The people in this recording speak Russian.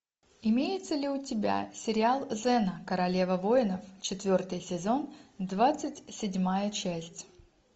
имеется ли у тебя сериал зена королева воинов четвертый сезон двадцать седьмая часть